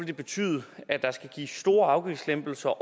det betyde at der skal gives store afgiftslempelser